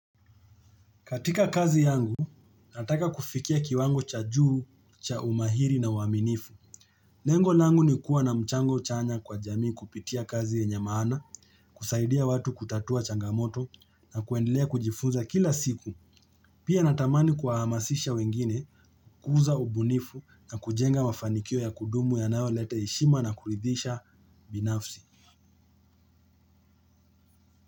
Katika kazi yangu, nataka kufikia kiwango cha juu, cha umahiri na uaminifu. Lengo langu ni kuwa na mchango chanya kwa jamii kupitia kazi yenye maana, kusaidia watu kutatua changamoto na kuendelea kujifunza kila siku. Pia natamani kuwa hamasisha wengine, kuuza ubunifu na kujenga mafanikio ya kudumu yanayo leta heshima na kuridhisha binafsi.